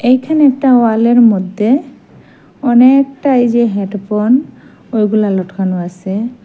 এখানে একটা ওয়ালের মদ্যে অনেকটা এই যে হেডফোন ওইগুলা লটকানো আছে।